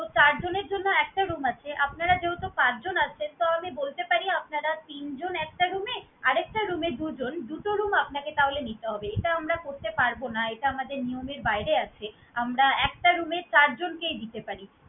তো চারজনের জন্য একটা room আছে। আপনারা যেহেতু পাঁচজন আছেন, তো আমি বলতে পারি আপনারা তিন জন একটা room এ, আরেকটা room এ দুজন, দুটো room আপনাকে তাহলে নিতে হবে। এটা আমরা করতে পারবো না, এটা আমাদের নিয়মের বাহিরে আছে। আমরা একটা room এ চারজনকেই দিতে পারি।